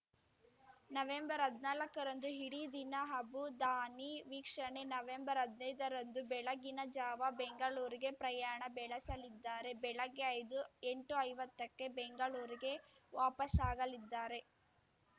ನವೆಂಬರ್ಹದ್ನಾಲ್ಕರಂದು ಇಡೀ ದಿನ ಅಬುಧಾನಿ ವೀಕ್ಷಣೆ ನವೆಂಬರ್ಹದ್ನೈದ ರಂದು ಬೆಳಗಿನ ಜಾವ ಬೆಂಗಳೂರಿಗೆ ಪ್ರಯಾಣ ಬೆಳೆಸಲಿದ್ದಾರೆ ಬೆಳಗ್ಗೆ ಐದು ಎಂಟುಐವತ್ತಕ್ಕೆ ಬೆಂಗಳೂರಿಗೆ ವಾಪಸ್ಸಾಗಲಿದ್ದಾರೆ